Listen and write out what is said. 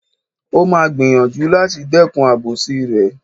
O máa gbìyànjú láti dẹ́kun àbòsí rẹ̀.